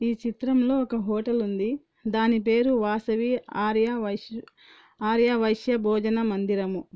ఈ చిత్రంలో ఒక హోటల్ ఉంది. దాని పేరు వాసవి ఆర్యా వైశ్య-ఆర్యా వైశ్య భోజన మందిరము.